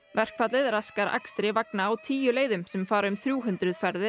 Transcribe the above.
verkfallið raskar akstri vagna á tíu leiðum sem fara um þrjú hundruð ferðir